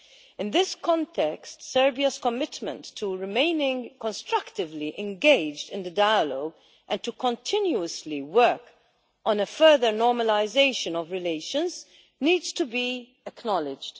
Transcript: In this context, Serbia's commitment to remaining constructively engaged in the dialogue and to continuously work on a further normalisation of relations needs to be acknowledged.